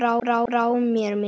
Þá brá mér mikið